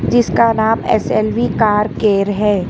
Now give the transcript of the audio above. जिसका नाम S L V car care है।